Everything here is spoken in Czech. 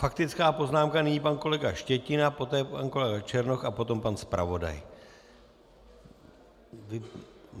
Faktická poznámka, nyní pan kolega Štětina, poté pan kolega Černoch a potom pan zpravodaj.